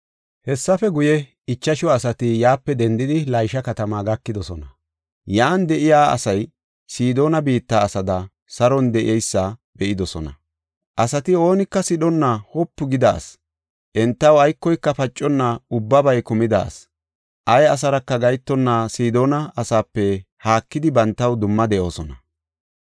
Hessape guye, ichashu asati yaape dendidi, Laysha katamaa gakidosona. Yan de7iya asay Sidoona biitta asaada saron de7eysa be7idosona; asati oonika sidhonna wopu gida asi; entaw aykoyka paconna ubbabay kumida asi. Ay asaraka gahetonna Sidoona asaape haakidi bantaw dumma de7oosona.